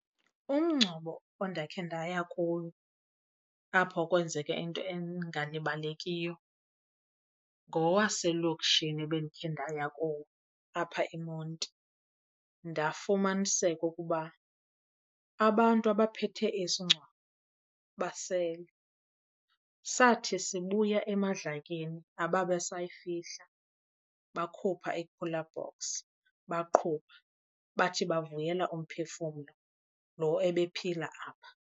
Umngcwabo ondakhe ndaya kuwo apho kwenzeke into engalibalekiyo ngowaselokishini ebendikhe ndaya kuwo apha eMonti. Ndafumaniseka ukuba abantu abaphethe isingcwabo basele. Sathi sibuya emadlakeni ababesayifihla bakhupha ii-cooler box baqhuba bathi bavuyela umphefumlo lo ebephila apha.